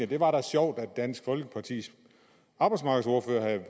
det var da sjovt at dansk folkepartis arbejdsmarkedsordfører havde